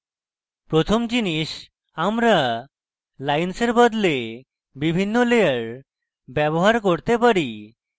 প্রথম জিনিস আমরা lines বদলে বিভিন্ন layer ব্যবহার করতে পারি